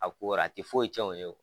A ko ra a ti foyi cɛn u ye wo.